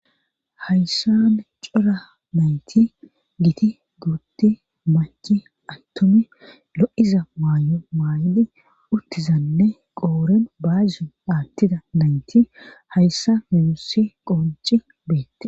Hayssane cura nayti giti guutti machi attomi lo'iza maayo maay'di uttizanne qooren baazin aattida nayti hayssa mimusi qonci beette.